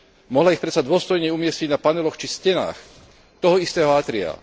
Mohla ich predsa dôstojne umiestniť na paneloch či stenách toho istého átria.